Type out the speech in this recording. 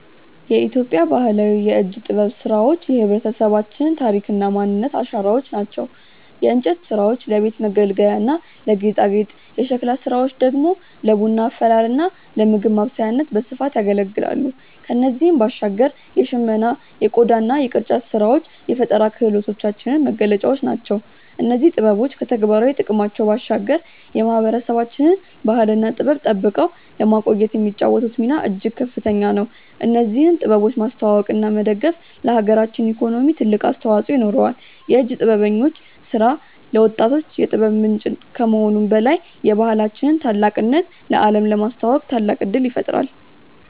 የኢትዮጵያ ባህላዊ የእጅ ጥበብ ስራዎች የህብረተሰባችን ታሪክና ማንነት አሻራዎች ናቸው። የእንጨት ስራዎች ለቤት መገልገያና ለጌጣጌጥ፣ የሸክላ ስራዎች ደግሞ ለቡና አፈላልና ለምግብ ማብሰያነት በስፋት ያገለግላሉ። ከእነዚህም ባሻገር የሽመና የቆዳና የቅርጫት ስራዎች የፈጠራ ክህሎታችን መገለጫዎች ናቸው። እነዚህ ጥበቦች ከተግባራዊ ጥቅማቸው ባሻገር የማህበረሰባችንን ባህልና ጥበብ ጠብቀው ለማቆየት የሚጫወቱት ሚና እጅግ ከፍተኛ ነው። እነዚህን ጥበቦች ማስተዋወቅና መደገፍ ለሀገራችን ኢኮኖሚ ትልቅ አስተዋጽኦ ይኖረዋል። የእጅ ጥበበኞች ስራ ለወጣቶች የጥበብ ምንጭ ከመሆኑም በላይ የባህላችንን ታላቅነት ለአለም ለማስተዋወቅ ታላቅ እድል ይፈጥራል።